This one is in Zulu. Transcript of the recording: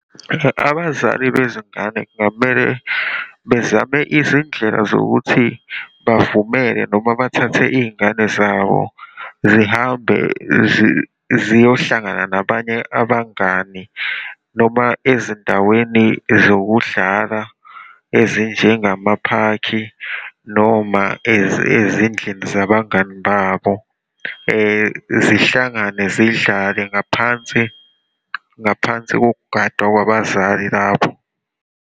Abazali bezingane kungamele bezame izindlela zokuthi bavumele, noma bathathe iy'ngane zabo, zihambe ziyohlangana nabanye abangani, noma ezindaweni zokudlala, ezinjengamaphakhi, noma ezindlini zabangani babo, zihlangane zidlale ngaphansi, ngaphansi kokugadwa kwabazali lapho.